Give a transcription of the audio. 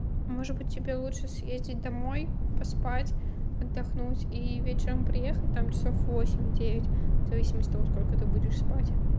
может быть тебе лучше съездить домой поспать отдохнуть и вечером приехать там часов в восемь девять в зависимости от того сколько ты будешь спать